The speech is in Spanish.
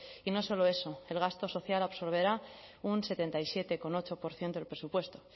y no solo eso el gasto social absorberá un setenta y siete coma ocho por ciento del presupuesto